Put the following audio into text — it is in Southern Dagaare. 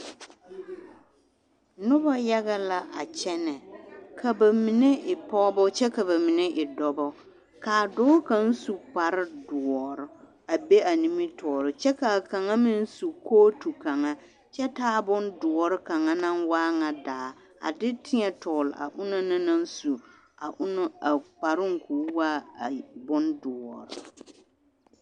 Noba yaga la a kyɛnɛ, ka bamine e pɔgebɔ kyɛ ka bamine e dɔbɔ, k'a dɔɔ kaŋ su kpare doɔre a be a nimitɔɔre kyɛ k'a kaŋa meŋ su kootu kaŋa kyɛ taa bondoɔre kaŋa naŋ waa ŋa daa a de tēɛ tɔgele a onaŋ naŋ su a kparoŋ k'o waa bondoɔre.